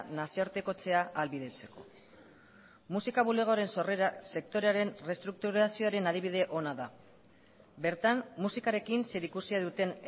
nazioartekotzea ahalbidetzeko musika bulegoaren sorrera sektorearen errestrukturazioaren adibide ona da bertan musikarekin zerikusia duten